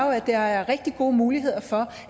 jo at der er rigtig gode muligheder for